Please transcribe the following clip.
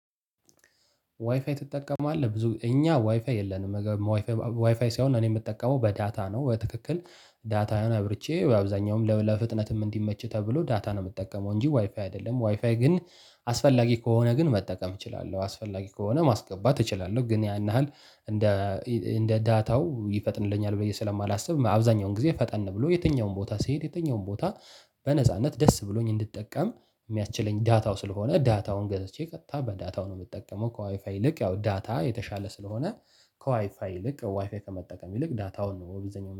ዋይፋይ ትጠቀማለህ ብዙ እኛ ዋይፋይ የለንም። ዋይፋይ ሳይሆን እኔ የምጠቀመው በዳታ ነው። በትክክል ዳታውን አብርቼ በአብዛኛውም ለፍጥነትም እንዲመች ተብሎ ዳታ ነው የምጠቀመው እንጂ ዋይፋይ አይደለም ዋይፋይ ግን። አስፈላጊ ከሆነ ግን መጠቀም እችላለሁ አስፈላጊ ከሆነ ማስገባት እችላለሁ ግን ያን ያህል። እንደ ዳታው ይፈጥንልኛል ብዬ ስለማላስብ አብዛኛውን ጊዜ ፈጠን ብሎ የትኛውን ቦታ ሲሄድ የትኛውን ቦታ በነጻነት ደስ ብሎኝ እንድጠቀም የሚያችለኝ ዳታው ስለሆነ። ዳታውን ገዘቼ ቀጥታ በዳታው ነው የምጠቀመው ከዋይፋይ ይልቅ ያው ዳታ የተሻለ ስለሆነ። ከዋይፋ ይልቅ ዋይፋ ከመጠቀም ይልቅ ዳታውን ነው በብዘኛው